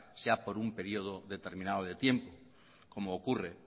sea por un periodo determinado de tiempo como ocurre